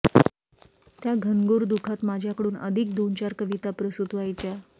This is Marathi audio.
त्या घनघोर दुःखात माझ्याकडून अधिक दोनचार कविता प्रसूत व्हायच्या